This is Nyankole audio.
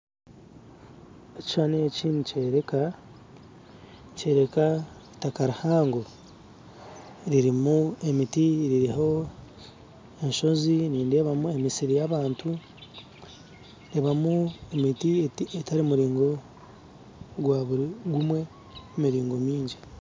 Ekishushani eki nikyoreka nikyoreka itaka rihango ririmu emiti ririho enshozi nindeebamu emisiri y'abantu ndeebamu emiti etari miraingwaho gwaburi gumwe emiringo mingi